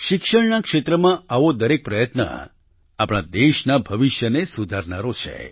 શિક્ષણના ક્ષેત્રમાં આવો દરેક પ્રયત્ન આપણા દેશના ભવિષ્યને સુધારનારો છે